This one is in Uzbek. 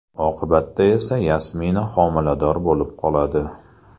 Oqibatda esa Yasmina homilador bo‘lib qoladi.